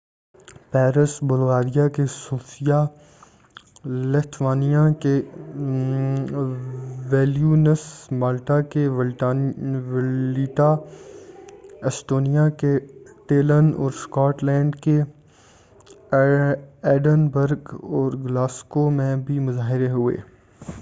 Paris Bulgaria کے Sofia Lithuania کے Vilnius Malta کے والیٹا ایسٹونیا کے ٹیلن اور اسکاٹ لینڈ کے ایڈنبرگ اور گلاسگو میں بھی مظاہرے ہوئے